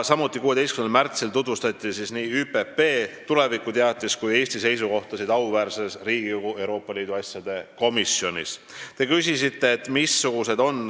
Samuti tutvustati nii teatist ÜPP tuleviku kohta kui ka Eesti seisukohti auväärses Riigikogu Euroopa Liidu asjade komisjonis 16. märtsil.